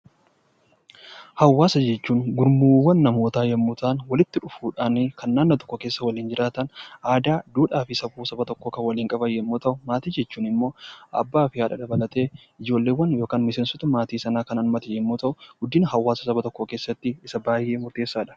Hawaasa jechuun gurmuuwwan namootaa yommuu ta'an , walitti dhufuudhaan kan naannoo tokko keessa jiraatan aadaa, duudhaa fi safuu tokko kan waliin qaban yoo ta'u, maatii jechuun immoo abbaa fi haadha dabalatee ijoollee fi miseensota maatii sanaa kan hammate yommuu ta'u guddina hawaasaa keessatti gahee kan qabudha.